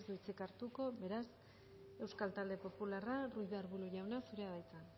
hitz hartuko beraz euskal talde popularra ruiz de arbulo jauna zurea da hitza